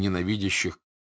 ненавидящих